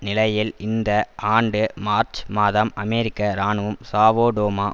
நிலையில் இந்த ஆண்டு மார்ச் மாதம் அமெரிக்க இராணுவம் சாவோ டோமா